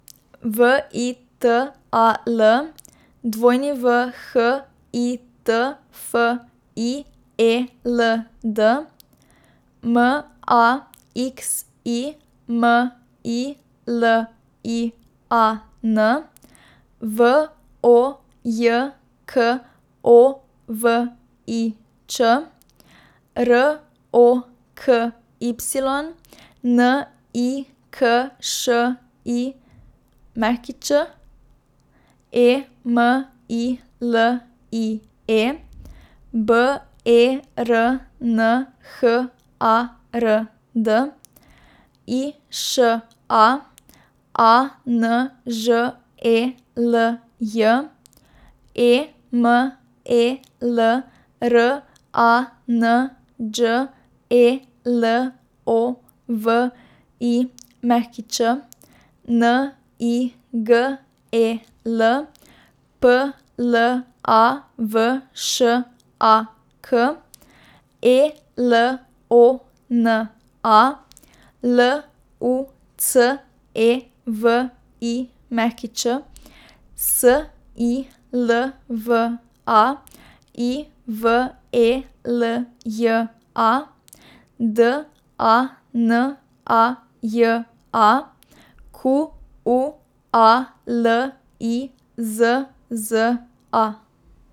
V I T A L, W H I T F I E L D; M A X I M I L I A N, V O J K O V I Č; R O K Y, N I K Š I Ć; E M I L I E, B E R N H A R D; I Š A, A N Ž E L J; E M E L, R A N Đ E L O V I Ć; N I G E L, P L A V Š A K; E L O N A, L U C E V I Ć; S I L V A, I V E L J A; D A N A J A, Q U A L I Z Z A.